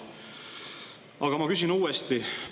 Aga ma küsin uuesti.